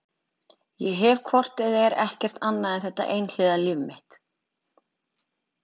Ég hef hvort eð er ekkert annað en þetta einhliða líf mitt.